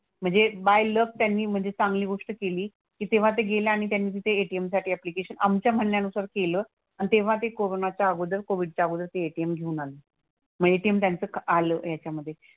म्हणजे by luck त्यांनी म्हणजे चांगली गोष्ट केली की तेव्हा ते गेले आणि त्यांनी तिथे ATM साठी ऍप्लिकेशन आमच्या म्हणण्यानुसार केलं आणि तेव्हा ते कोरोनाच्या अगोदर कोविडच्या अगोदर ते ATM घेऊन आले. मग ATM त्यांचं आलं याच्यामधे.